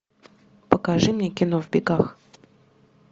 покажи мне кино в бегах